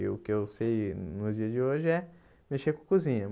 E o que eu sei nos dias de hoje é mexer com cozinha.